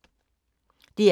DR K